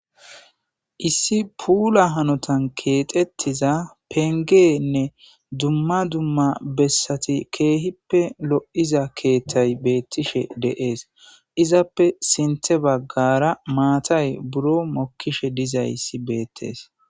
Issi pulla hanotan kexxettiza penggenne dumma dumma bessatti keehippe lo'iza keeththay betishe de'es. Izappe sinththe baggara maththay biiron mokishe dizayssi bettes.